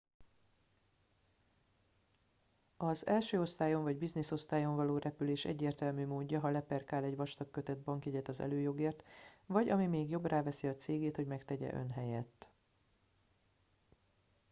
az első osztályon vagy business-osztályon való repülés egyértelmű módja ha leperkál egy vastag köteg bankjegyet az előjogért vagy ami még jobb ráveszi a cégét hogy megtegye ön helyett